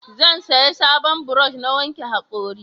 Zan saya sabon burosh na wanke hakori